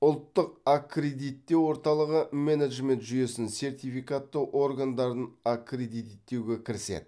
ұлттық аккредиттеу орталығы менеджмент жүйесін сертификаттау органдарын аккредиттеуге кіріседі